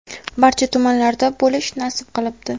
barcha tumanlarda bo‘lish nasib qilibdi.